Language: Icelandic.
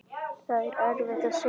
Það er erfitt að segja.